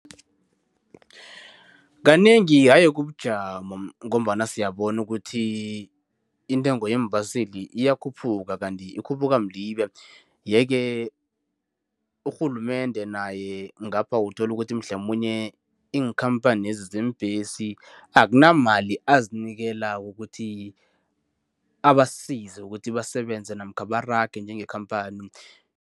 Kanengi haye kubujamo ngombana siyabona ukuthi intengo yeembaseli iyakhuphuka, kanti ikhuphuka mlibe. Yeke urhulumende naye ngapha uthola ukuthi mhlamunye iinkhampanezi zeembesi akunamali azinikelako ukuthi, abasize ukuthi basebenze namkha barage njengekhamphani.